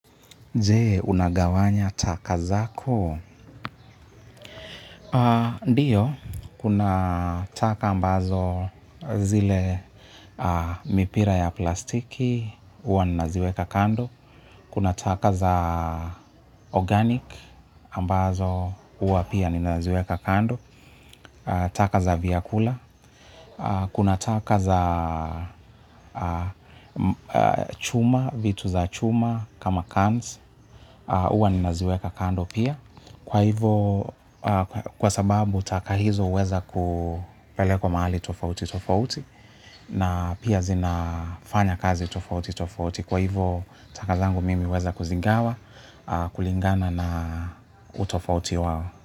Je, unagawanya taka zako? Ndiyo, kuna taka ambazo zile mipira ya plastiki, huwa ninaziweka kando. Kuna taka za organic, ambazo uwa pia ninaziweka kando. Taka za vyakula, kuna taka za chuma, vitu za chuma kama cans, huwa ninaziweka kando pia. Kwa hivo, kwa sababu taka hizo huweza kupelekwa mahali tofauti tofauti na pia zinafanya kazi tofauti tofauti. Kwa hivyo, taka zangu mimi huweza kuzigawa, kulingana na utofauti wao.